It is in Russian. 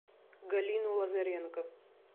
галину лазаренко